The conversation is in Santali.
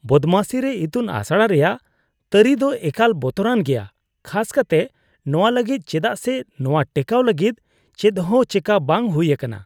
ᱵᱚᱫᱢᱟᱥᱤ ᱨᱮ ᱤᱛᱩᱱ ᱟᱥᱲᱟ ᱨᱮᱭᱟᱜ ᱛᱟᱹᱨᱤ ᱫᱚ ᱮᱠᱟᱞ ᱵᱚᱛᱚᱨᱟᱱ ᱜᱮᱭᱟ ᱠᱷᱟᱥ ᱠᱟᱛᱮᱜ ᱱᱚᱣᱟ ᱞᱟᱹᱜᱤᱫ ᱪᱮᱫᱟᱜ ᱥᱮ ᱱᱚᱣᱟ ᱴᱮᱠᱟᱣ ᱞᱟᱹᱜᱤᱫ ᱪᱮᱫᱦᱚᱸ ᱪᱮᱠᱟ ᱵᱟᱝ ᱦᱩᱭ ᱟᱠᱟᱱᱟ ᱾